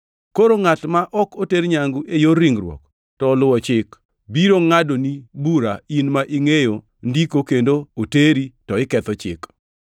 Koro ngʼat ma ok oter nyangu e yor ringruok, to oluwo chik, biro ngʼadoni bura, in ma ingʼeyo Ndiko kendo oteri, to iketho chik.